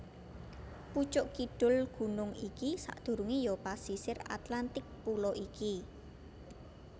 Pucuk kidul gunung iki sadurungé ya pasisir Atlantik pulo iki